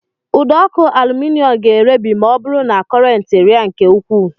Ụdọọkụ alụminịọm ga-erebi ma ọ bụrụ na kọrentị rịa nke ukwuu